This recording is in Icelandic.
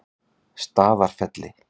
Staðarfelli